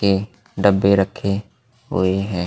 के डब्बे रखे हुए हैं।